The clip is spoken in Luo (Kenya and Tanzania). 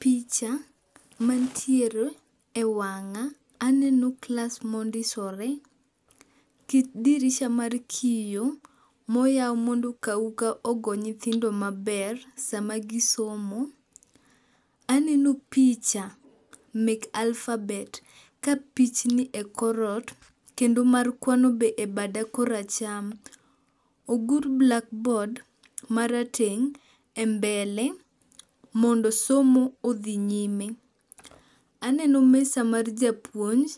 Picha mantiere e wang'a, aneno klas mondisore, kit dirisha mar kiyo, moyaw mondo kauka ogo nyithindo maber sama gisomo. Aneno picha mek alphabet, ka pichni e kor ot kendo mar kwano be e bada koracham. Ogur blackboard e mbele mondo somo odhi nyime. Aneno mesa mar japuonj